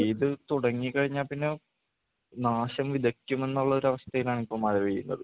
പെയ്ത് തുടങ്ങി കഴിഞ്ഞാൽ പിന്നെ നാശം വിതയ്ക്കും എന്നുള്ളൊരവസ്ഥയിലാണ് ഇപ്പം മഴ പെയ്യുന്നത്